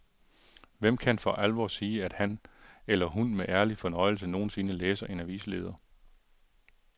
Hvem kan for alvor sige, at han eller hun med ærlig fornøjelse nogensinde læser en avisleder.